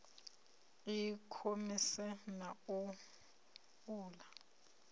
i khomese na u uula